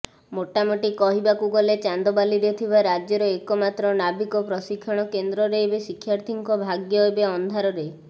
ମୋଟାମୋଟି କହିବାକୁ ଗଲେ ଚାନ୍ଦବାଲିରେ ଥିବା ରାଜ୍ୟର ଏକମାତ୍ର ନାବିକ ପ୍ରଶିକ୍ଷଣ କେନ୍ଦ୍ରରେ ଏବେ ଶିକ୍ଷାର୍ଥୀଙ୍କ ଭାଗ୍ୟ ଏବେ ଅନ୍ଧାରରେ